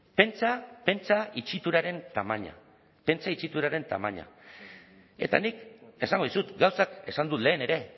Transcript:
pentsa pentsa itxituraren tamaina pentsa itxituraren tamaina eta nik esango dizut gauzak esan dut lehen ere